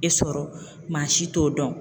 E sɔrɔ maa si t'o dɔn.